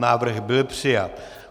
Návrh byl přijat.